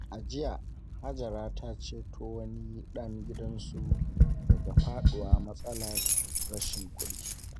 A jiya, Hajara ta ceto wani ɗan gidansu daga faɗawa matsalar rashin kuɗi.